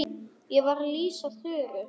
Ég var að lýsa Þuru.